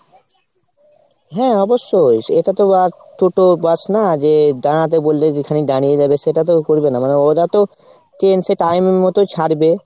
হ্যাঁ অবশ্যই। এটা তো আর toto bus না যে দাঁড়াতে বললে যেখানে দাঁড়িয়ে যাবে সেটা তো করবে না মানে ওরা তো train সে time এর মতো ছাড়বে।